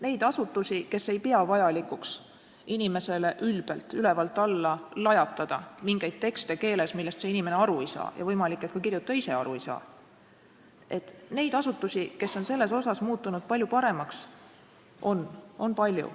Neid asutusi, kes ei pea vajalikuks lajatada inimesele ülbelt ülevalt alla mingeid tekste keeles, millest ei saa aru see inimene ja võimalik, et ka kirjutaja ise mitte, neid asutusi, kes on selles asjas muutunud palju paremaks, on palju.